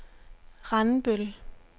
Randbøl